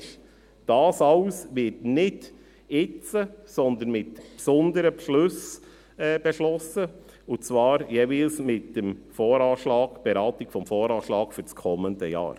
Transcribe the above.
Nochmals: All dies wird nicht jetzt, sondern mit gesonderten Beschlüssen beschlossen, und zwar jeweils mit der Beratung des Voranschlags (VA) für das kommende Jahr.